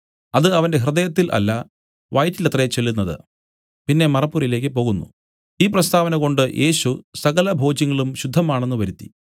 അത് അവന്റെ ഹൃദയത്തിൽ അല്ല വയറ്റിലത്രേ ചെല്ലുന്നത് പിന്നെ മറപ്പുരയിലേക്കു പോകുന്നു ഈ പ്രസ്താവനകൊണ്ട് യേശു സകലഭോജ്യങ്ങളും ശുദ്ധമാണെന്ന് വരുത്തി